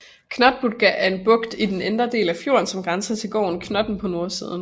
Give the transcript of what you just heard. Knottbukta er en bugt i den indre del af fjorden som grænser til gården Knotten på nordsiden